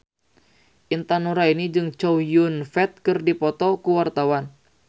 Intan Nuraini jeung Chow Yun Fat keur dipoto ku wartawan